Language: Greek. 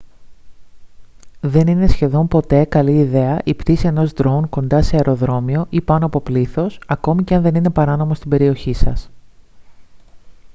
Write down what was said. δεν είναι σχεδόν πότε καλή ιδέα η πτήση ενός drone κοντά σε αεροδρόμιο ή πάνω από πλήθος ακόμη και αν δεν είναι παράνομο στην περιοχή σας